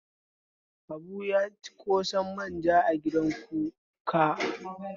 Habu ya ci ƙosan manja a gidan kuka.